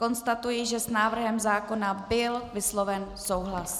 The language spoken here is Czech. Konstatuji, že s návrhem zákona byl vysloven souhlas.